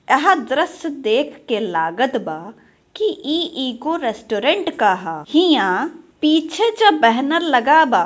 यह दृश्य देख के लागत बा कि इ एगो रेस्टोरेंट का है इहां पीछे जो बैनर लगा बा --